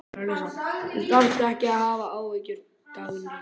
Þú þarft ekki að hafa áhyggjur, Dagný.